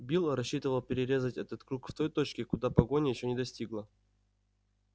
билл рассчитывал перерезать этот круг в той точке куда погоня ещё не достигла